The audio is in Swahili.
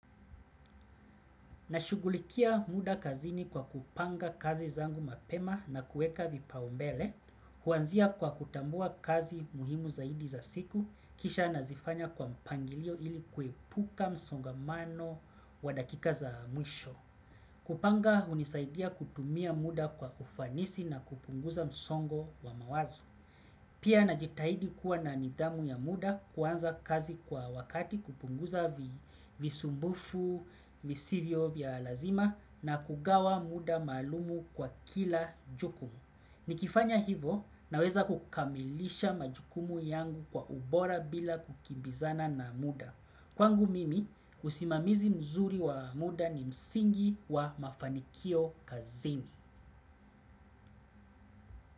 Nashugulikia muda kazini kwa kupanga kazi zangu mapema na kueka vipaombele, huanzia kwa kutambua kazi muhimu zaidi za siku, kisha nazifanya kwa mpangilio ili kuepuka msongamano wa dakika za mwisho. Kupanga hunisaidia kutumia muda kwa ufanisi na kupunguza msongo wa mawazo. Pia najitahidi kuwa na nidhamu ya muda kuanza kazi kwa wakati kupunguza visumbufu, visivyo vya lazima na kugawa muda malumu kwa kila jukumu. Nikifanya hivo naweza kukamilisha majukumu yangu kwa ubora bila kukimbizana na muda. Kwangu mimi usimamizi mzuri wa muda ni msingi wa mafanikio kazini.